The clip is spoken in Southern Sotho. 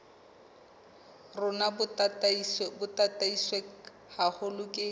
rona bo tataiswe haholo ke